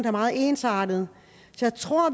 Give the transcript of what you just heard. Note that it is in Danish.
er meget ensartede så jeg tror